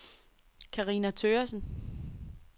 Carina Thøgersen